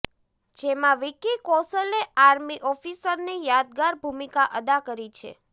જેંમાં વિકી કોશલે આર્મી ઓફિસરની યાદગાર ભૂમિકા અદા કરી છે